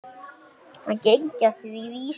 Hann gengi að því vísu.